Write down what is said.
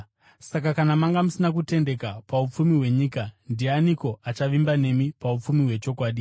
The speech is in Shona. Saka kana manga musina kutendeka paupfumi hwenyika, ndianiko achavimba nemi paupfumi hwechokwadi?